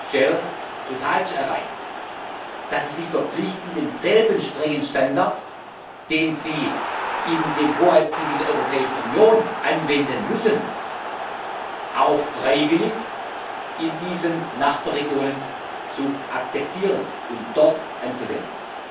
BP, Shell, Total zu erreichen und dass sie sich verpflichten, den selben strengen Standard, den sie im Hoheitsgebiet der Europäischen Union anwenden müssen, freiwillig in diesen Nachbarregionen zu akzeptieren und dort anzuwenden.